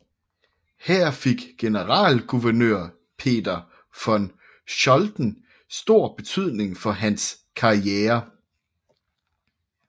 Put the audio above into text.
Her fik generalguvernør Peter von Scholten stor betydning for hans karriere